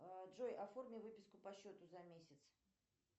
джой оформи выписку по счету за месяц